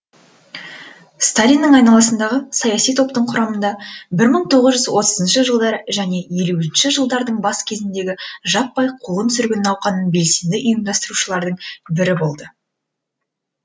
сталиннің айналасындағы саяси топтың құрамында бір мың тоғыз жүз отызыншы жылдары және елуінші жылдардың бас кезіндегі жаппай қуғын сүргін науқанын белсенді ұйымдастырушылардың бірі болды